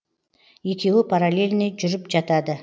екеуі параллельный жүріп жатады